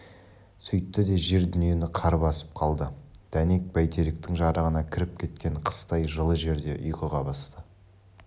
сөйтті де жер-дүниені қар басып қалды дәнек бәйтеректің жарығына кіріп кеткен қыстай жылы жерде ұйқыға басты